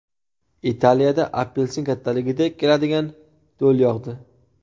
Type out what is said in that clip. Italiyada apelsin kattaligidek keladigan do‘l yog‘di .